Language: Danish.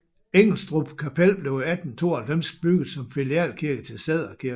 Ingelstrup Kapel blev i 1892 bygget som filialkirke til Sædder Kirke